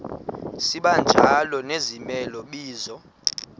sibanjalo nezimela bizo